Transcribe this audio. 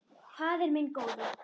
Faðir minn góði.